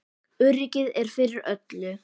Öryggið er fyrir öllu.